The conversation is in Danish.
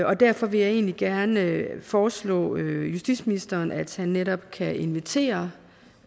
og derfor vil jeg egentlig gerne foreslå justitsministeren at han netop kan invitere